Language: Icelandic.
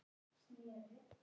Þorðu varla að anda.